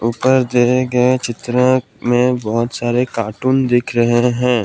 ऊपर दिए गए चित्र में बहुत सारे कार्टून दिख रहे हैं।